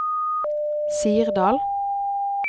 Sirdal